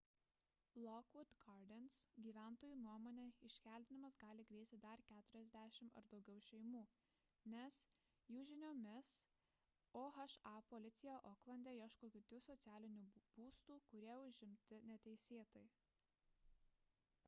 lockwood gardens gyventojų nuomone iškeldinimas gali grėsti dar 40 ar daugiau šeimų nes jų žiniomis oha policija oklande ieško kitų socialinių būstų kurie užimti neteisėtai